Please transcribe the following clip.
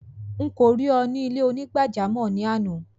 Nkọ rí è ni ilẹ̀-onígbàjàmọ́ náà ni ànà.